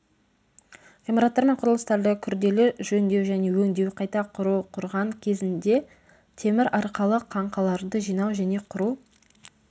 ғимараттар мен құрылыстарды күрделі жөндеу және өңдеу қайта құру құрған кезінде темір арқалық қаңқаларды жинау және құру